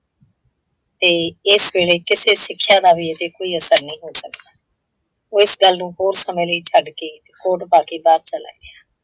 ਤੇ ਇਸ ਵੇਲੇ ਕਿਸੇ ਸਿਕਸ਼ਾ ਦਾ ਵੀ ਇਹਤੇ ਕੋਈ ਅਸਰ ਨਹੀਂ ਹੋ ਸਕਦਾ। ਉਹ ਇਸ ਗੱਲ ਨੂੰ ਹੋਰ ਸਮੇਂ ਲਈ ਛੱਡ ਕੇ, ਕੋਟ ਪਾ ਕੇ ਬਾਹਰ ਚਲਾ ਗਿਆ।